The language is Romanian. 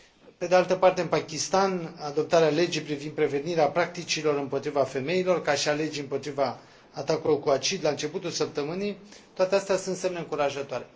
pe de altă parte, în Pakistan, adoptarea legii privind prevenirea practicilor împotriva femeilor, ca și a legii împotriva atacurilor cu acid la începutul săptămânii toate acestea sunt semne încurajatoare.